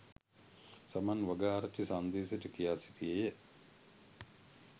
සමන් වගආරච්චි සංදේශයට කියා සිටියේය